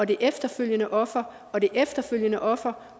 det efterfølgende offer og det efterfølgende offer